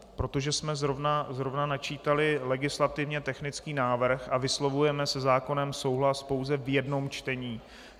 Protože jsme zrovna načítali legislativně technický návrh a vyslovujeme se zákonem souhlas pouze v jednom čtení.